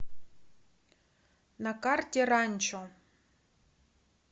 на карте ранчо